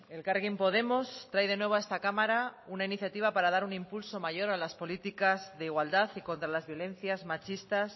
elkarrekin podemos trae de nuevo a esta cámara una iniciativa para dar un impulso mayor a las políticas de igualdad y contra las violencias machistas